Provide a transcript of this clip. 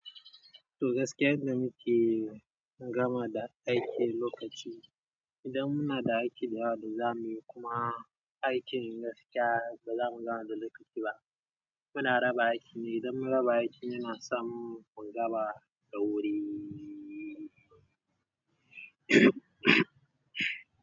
To gaskiyar da muke gama da aiki lokaci, idan muna da aiki da yawa da zamuyi kuma aikin gaskiya ba zamu gama da lokaci ba. Muna raba aiki ne, idan mun raba aiki muna samun mu gama da wuri.